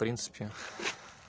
принципе